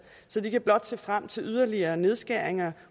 så de kan blot se frem til yderligere nedskæringer